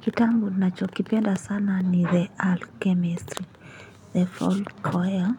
Kitabu na chokipenda sana ni the alchemist The fall coil.